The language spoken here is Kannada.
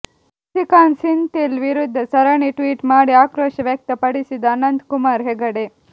ಸಸಿಕಾಂತ್ ಸೆಂಥಿಲ್ ವಿರುದ್ಧ ಸರಣಿ ಟ್ವಿಟ್ ಮಾಡಿ ಆಕ್ರೋಶ ವ್ಯಕ್ತ ಪಡಿಸಿದ ಅನಂತ್ ಕುಮಾರ್ ಹೆಗಡೆ